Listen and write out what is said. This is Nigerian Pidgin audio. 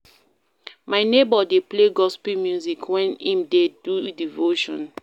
My neighbour dey play gospel music wen im dey do devotion.